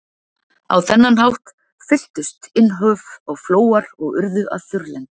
Á þennan hátt fylltust innhöf og flóar og urðu að þurrlendum.